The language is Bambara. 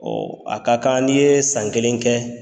a ka kan n'i ye san kelen kɛ.